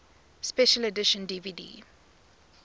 special edition dvd